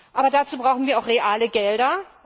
Aber dazu brauchen wir auch reale Gelder.